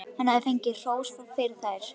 Hann hafði fengið hrós fyrir þær.